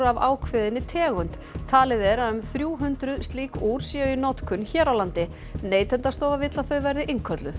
af ákveðinni tegund talið er að um þrjú hundruð slík úr séu í notkun hér á landi Neytendastofa vill að þau verði innkölluð